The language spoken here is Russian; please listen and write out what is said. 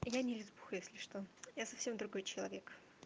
я не лесбиянка если что я совсем другой человек